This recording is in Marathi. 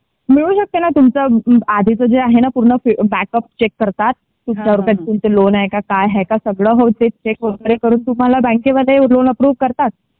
मिळू शकते ना तुमचा ना आधीच जे आहे ना बॅकअप चेक करतात तुमच्यावर काही लोन आहे का काय आहे काय ते चेक वगैरे करून बँकेमध्ये लोन अप्रू करतात.